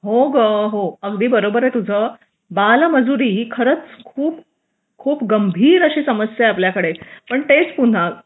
हो ग हो अगदी बरोबर आहे तुझं बालमजुरी ही खरच खूप गंभीर अशी समस्या आहे आपल्याकडे पण तेच पुन्हा